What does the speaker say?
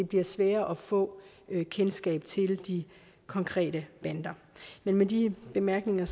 bliver sværere at få kendskab til de konkrete bander med de bemærkninger